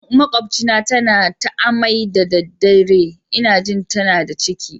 Matan makwabcina tana a'mai da daddewa, n'na ji tana da ciki.